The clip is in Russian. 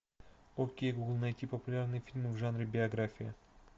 окей гугл найти популярные фильмы в жанре биография